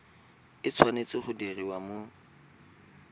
e tshwanetse go diriwa mo